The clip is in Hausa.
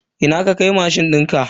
Ina ka kai mashin dinka?